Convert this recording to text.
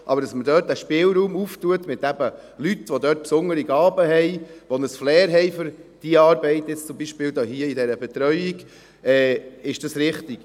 Aber dass man dort einen Spielraum auftut, eben mit Leuten, die dort besondere Gaben haben, die ein Flair für diese Arbeit haben, hier zum Beispiel in dieser Betreuung, ist richtig.